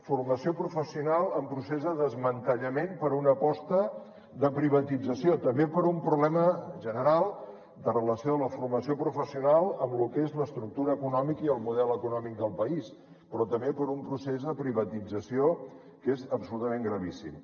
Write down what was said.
formació professional en procés de desmantellament per una aposta de privatització també per un problema general de relació de la formació professional amb el que és l’estructura econòmica i el model econòmic del país però també per un procés de privatització que és absolutament gravíssim